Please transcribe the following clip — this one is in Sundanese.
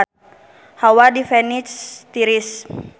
Hawa di Venice tiris